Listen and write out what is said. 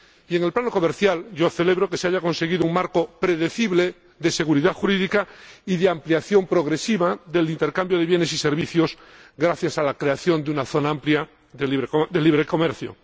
en el plano comercial, yo celebro que se haya conseguido un marco predecible de seguridad jurídica y de ampliación progresiva del intercambio de bienes y servicios, gracias a la creación de una zona amplia de libre comercio